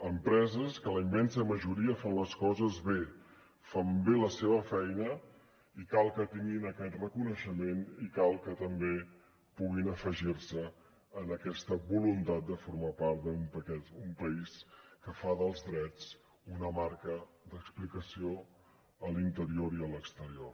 empreses que la immensa majoria fan les coses bé fan bé la seva feina i cal que tinguin aquest reconeixement i cal que també puguin afegir se a aquesta voluntat de formar part d’un país que fa dels drets una marca d’explicació a l’interior i a l’exterior